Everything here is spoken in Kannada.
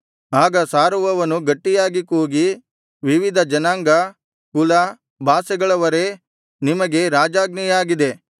ಆಗ ಸಾರುವವನು ಗಟ್ಟಿಯಾಗಿ ಕೂಗಿ ವಿವಿಧ ಜನಾಂಗ ಕುಲ ಭಾಷೆಗಳವರೇ ನಿಮಗೆ ರಾಜಾಜ್ಞೆಯಾಗಿದೆ